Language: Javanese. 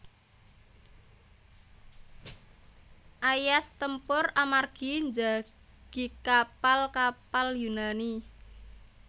Aias tempur amargi njagi kapal kapal Yunani